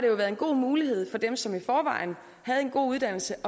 været en god mulighed for dem som i forvejen havde en god uddannelse